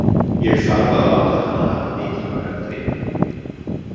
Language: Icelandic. Ég þarf að láta hana hafa mikilvægan grip.